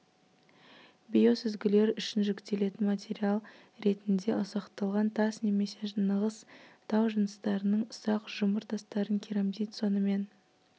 биосүзгілер үшін жүктелетін материал ретінде ұсақталған тас немесе нығыз тау жыныстарының ұсақ жұмыр тастарын керамзит сонымен